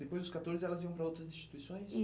Depois dos catorze, elas iam para outras instituições?